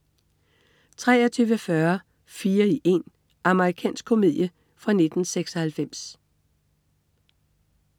23.40 Fire i én. Amerikansk komedie fra 1996